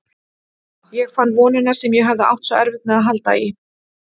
Ég fann vonina sem ég hafði átt svo erfitt með að halda í.